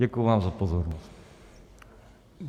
Děkuji vám za pozornost.